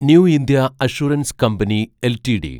new India assurance company LTD